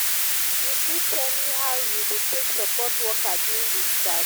you fit tell me how you dey take support worker during di strike?